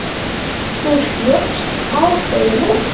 Þú hljópst á þig núna.